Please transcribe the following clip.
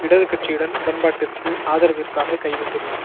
இடது கட்சியுடன் உடன்பாட்டிற்கு ஆதரவிற்காக கை விட்டுள்ளார்